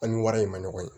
An ni wari in ma ɲɔgɔn ye